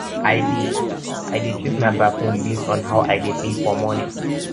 i dey i dey choose my perfume based on how i dey feel for morning